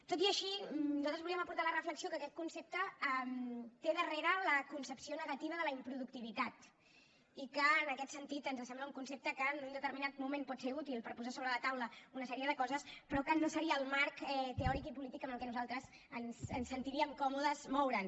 tot i així nosaltres volíem aportar la reflexió que aquest concepte té darrere la concepció negativa de la improductivitat i que en aquest sentit ens sembla un concepte que en un determinat moment pot ser útil per posar sobre la taula una sèrie de coses però que no seria el marc teòric i polític en el que nosaltres ens sentiríem còmodes de moure’ns